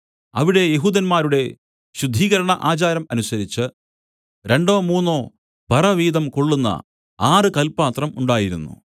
അവിടെ യെഹൂദന്മാരുടെ ശുദ്ധീകരണ ആചാരം അനുസരിച്ച് രണ്ടോ മൂന്നോ പറ വീതം കൊള്ളുന്ന ആറ് കല്പാത്രം ഉണ്ടായിരുന്നു